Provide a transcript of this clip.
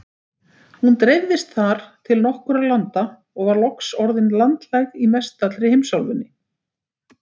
Hún dreifðist þar til nokkurra landa og var loks orðin landlæg í mestallri heimsálfunni.